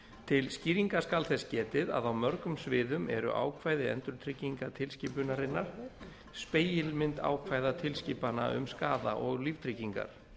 til skýringa skal þess getið að á mörgum sviðum eru ákvæði endurtryggingatilskipunarinnar spegilmynd ákvæða tilskipana um skaða og líftryggingar